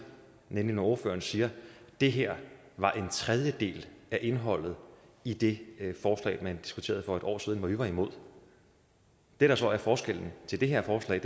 nemlig når ordføreren siger at det her var en tredjedel af indholdet i det forslag man diskuterede for et år siden hvor vi var imod det der så er forskellen til det her forslag